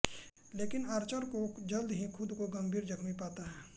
लेकिन आर्चर को जल्द ही खुद को गंभीर जख्मी पाता है